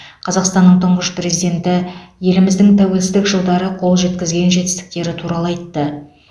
қазақстанның тұңғыш президенті еліміздің тәуелсіздік жылдары қол жеткізген жетістіктері туралы айтты